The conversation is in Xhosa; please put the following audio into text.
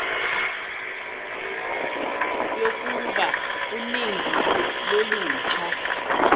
yokuba uninzi lolutsha